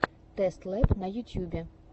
тэст лэб на ютьюбе